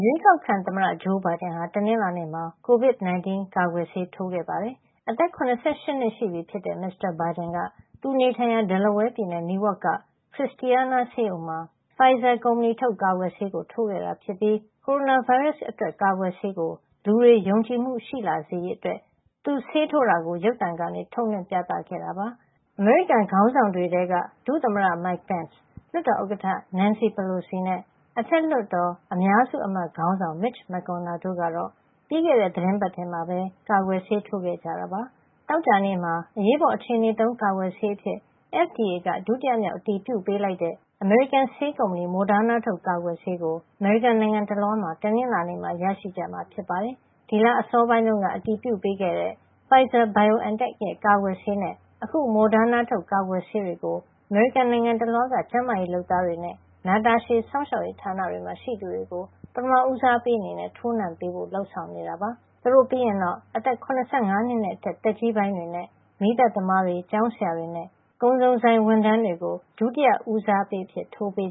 ရွေးကောက်ခံ သမ္မတဂျိုးဘိုင်ဒန်ဟာ တနင်္လာနေ့မှာ covid 19 ကာကွယ်ဆေး ထိုးခဲ့ပါတယ်။ အသက် ၇၈ နှစ်ရှိပြီဖြစ်တဲ့ မစ္စတာဘိုင်ဒန်က သူနေထိုင်ရာ Delaware ပြည်နယ် Newark က Christiana ဆေးရုံမှာ Pfizer ကုမ္ပဏီထုတ် ကာကွယ်ဆေးကို ထိုးခဲ့တာ ဖြစ်ပြီး ကိုရိုနာဗိုင်းရပ်စ်အတွက်ကာကွယ်ဆေးကို လူတွေယုံကြည်မှုရှိလာစေရေး အတွက် သူဆေးထိုးတာကို ရုပ်သံကနေ ထုတ်လွှင့်ခဲ့တာပါ။ အမေရိကန် ခေါင်းဆောင်တွေထဲက ဒုသမ္မတ Mike Pence လွှတ်တော်ဥက္ကဌ Nancy Pelosi နဲ့ အထက်လွှတ်တော် အများစုအမတ်ခေါင်းဆောင် Mitch McConnell တို့ကတော့ ပြီးခဲ့တဲ့ သီတင်းပတ်ထဲမှာ ကာကွယ်ဆေးထိုးခဲ့ကြတာပါ။ သောကြာနေ့မှာ အရေးပေါ်အခြေနေသုံး ကာကွယ်ဆေးအဖြစ် အမေရိကန်အစားအစာနဲ့ ဆေးဝါးစီမံခန့်ခွဲရေးဌာန FDA က ဒုတိယမြောက်အတည်ပြုပေးလိုက်တဲ့ အမေရိကန် ဆေးကုမ္ပဏီ Moderna ထုတ်ကာကွယ်ဆေးကို အမေရိကန်နိုင်ငံတလွှား မှာ တနင်္လာနေ့မှာ ရရှိကြမှာဖြစ်ပါတယ်။ ဒီလအစောပိုင်းတုန်းက အတည်ပြုပေးခဲ့တဲ့ Pfizer-BioNTech ရဲ့ ကာကွယ်ဆေးနဲ့ အခု Moderna ထုတ် ကာကွယ်ဆေးတွေကို အမေရိကန် နိုင်ငံတလွှားက ကျန်းမာရေးလုပ်သားတွေ နဲ့ နာတာရှည် စောင့်ရှောက်ရေးဌာနတွေမှာ ရှိသူတွေကို ပထမ ဦးစားပေး အနေနဲ့ ထိုးနှံပေးဖို့ လုပ်ဆောင်နေတာပါ။ သူတို့ပြီးရင်တော့ အသက် ၇၅ နှစ်နဲ့အထက် သက်ကြီးပိုင်းတွေနဲ့ မီးသတ်သမားတွေ၊ ကျောင်းးဆရာတွေနဲ့ ကုန်စုံဆိုင်ဝန်ထမ်းတွေကို ဒုတိယ ဦးစားပေးအဖြစ် ထိုးနှံပေး